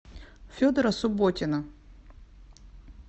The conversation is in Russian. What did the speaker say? федора субботина